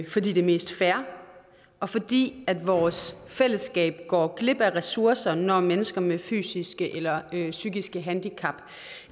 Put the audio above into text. fordi det er mest fair og fordi vores fællesskab går glip af ressourcer når mennesker med fysiske eller psykiske handicap